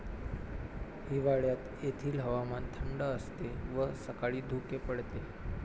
हिवाळ्यात येथील हवामान थंड असते व सकाळी धुके पडते.